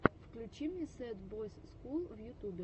включи мне сэд бойс скул в ютюбе